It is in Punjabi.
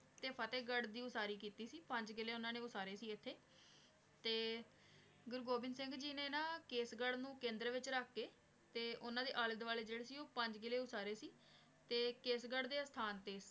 ਤੇ ਫ਼ਤੇਹ ਗਢ਼ ਦੀ ਵਾਸਾਰੀ ਕੀਤੀ ਸੀ ਪੰਜ ਕਿਲੇ ਓਨਾਂ ਨੇ ਵਾਸਾਨੀ ਸੀ ਏਥੇ ਤੇ ਗੁਰੂ ਗੋਵਿੰਦ ਸਿੰਘ ਜੀ ਨੇ ਨਾ ਕੇਸ ਗਢ਼ ਨੂ ਕੇਂਦਰ ਵਿਚ ਰਖ ਕੇ ਤੇ ਓਨਾਂ ਦੇ ਆਲੇ ਦਵਾਲੇ ਜੇਰੇ ਸੀ ਊ ਪੰਜ ਕਿਲੇ ਊ ਸਾਰੇ ਸੀ ਕੇਸ ਗਢ਼ ਦੇ ਅਸਥਾਨ ਤੇ